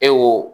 E wo